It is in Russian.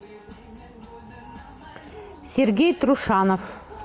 сергей трушанов